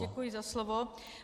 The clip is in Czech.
Děkuji za slovo.